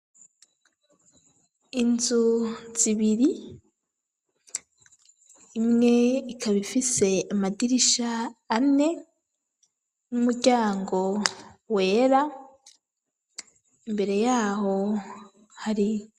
Inzu zibiri, imwe ikaba ifise amadirisha ane n'umuryango wera imbere yaho hari.